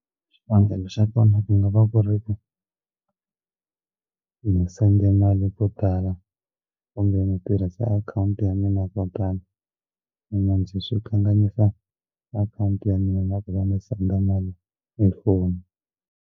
Xivangelo xa kona ku nga va ku ri ku ni sende mali to tala onge ni tirhise akhawunti ya mina ko tala manjhe swi kanganyisa akhawunti ya mina na ku va ni senda mali hi foni.